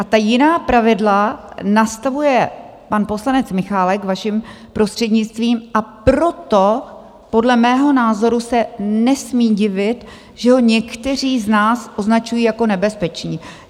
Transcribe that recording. A ta jiná pravidla nastavuje pan poslanec Michálek, vaším prostřednictvím, a proto podle mého názoru se nesmí divit, že ho někteří z nás označují jako nebezpečí.